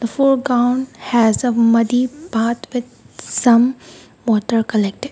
the foreground has a muddy part with some water collected.